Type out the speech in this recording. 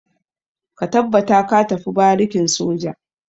Ka tabbata ka tafi barikin soja!